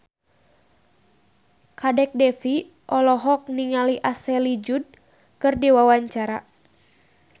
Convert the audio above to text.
Kadek Devi olohok ningali Ashley Judd keur diwawancara